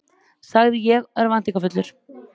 sagði ég örvæntingarfullur.